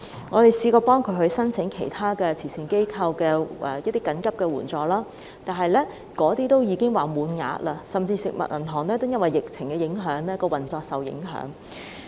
我們嘗試協助他們申請慈善機構的緊急援助，但全都已經額滿，就連食物銀行也因為疫情而運作受到影響。